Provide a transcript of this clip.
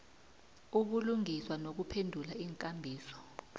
ubulungiswa nokuphendula iinkambiso